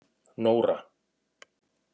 Nóra